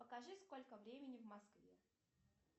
покажи сколько времени в москве